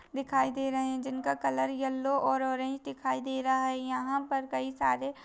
दिखाई दे रहे हैं जिनका कलर यल्लो और ऑरेंज दिखाई दे रहा है यहाँ पर कई सारे --